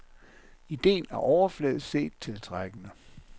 Idéen er overfladisk set tiltrækkende.